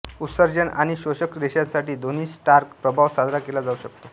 उत्सर्जन आणि शोषक रेषांसाठी दोन्ही स्टार्क प्रभाव साजरा केला जाऊ शकतो